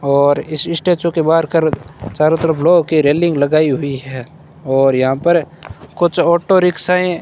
और इस स्टैचू के बाहर कर चारों तरफ लोह की रेलिंग लगाई हुई है और यहां पर कुछ ऑटो रिक्शायें --